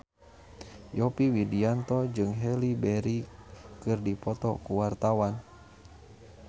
Yovie Widianto jeung Halle Berry keur dipoto ku wartawan